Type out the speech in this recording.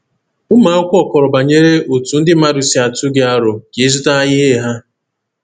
Ụmụ akwụkwọ kọrọ banyere otú ndị mmadụ si atụ gị aro ka ịzụta ihe ha.